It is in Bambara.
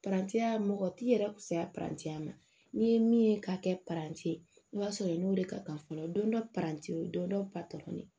mɔgɔ t'i yɛrɛ kusaya ma n'i ye min ye ka kɛ ye i b'a sɔrɔ i n'o de ka kan fɔlɔ don dɔ don dɔ